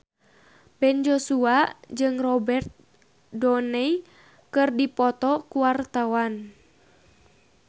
Ben Joshua jeung Robert Downey keur dipoto ku wartawan